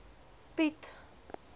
piet